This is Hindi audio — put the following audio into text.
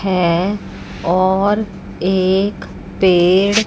है और एक पेड़--